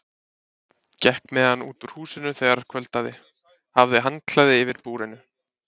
Gekk með hann út úr húsinu þegar kvöldaði, hafði handklæði yfir búrinu.